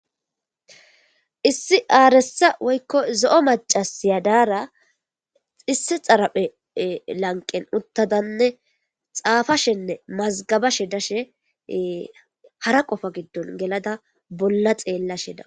Issi arssa woyikko zo'o mac'assiya diyara issi dharappe lanqqen uththidanne xaffashshanne mazigabashshe dishshen hara qoffa giddon geladda bolla xellashe de'awus.